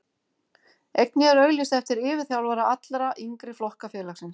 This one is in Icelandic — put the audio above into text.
Einnig er auglýst eftir yfirþjálfara allra yngri flokka félagsins.